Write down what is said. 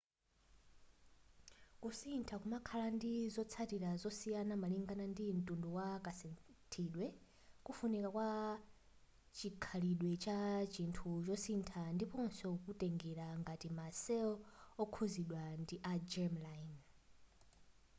kusintha kumakhala ndi zotsatila zosiyana malingana ndi ntundu wa kasinthidwe kufunika kwa chikhalidwe cha chinthu chosintha ndiponso kutengela ngati ma cell okhuzidwa ndi a germ-line